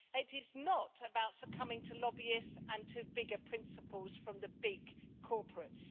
it is not about succumbing to lobbyists and to bigger principles from the big corporates.